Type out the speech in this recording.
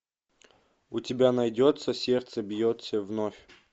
у тебя найдется сердце бьется вновь